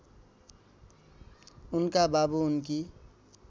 उनका बुबा उनकी